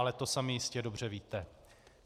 Ale to sami jistě dobře víte.